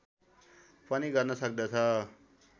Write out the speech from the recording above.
पनि गर्न सक्दछ